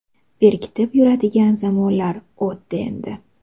Berkitib yuradigan zamonlar o‘tdi endi.